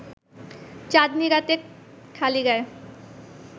চাঁদনি রাতে খালি গায়ে